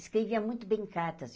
Escrevia muito bem cartas.